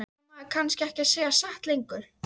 Á maður kannski ekki að segja satt lengur?